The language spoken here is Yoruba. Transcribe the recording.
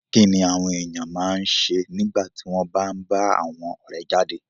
Kí ni àwọn ènìyàn máa ń ṣe nígbà tí wọ́n bá ń bá àwọn ọ̀rẹ́ jáde?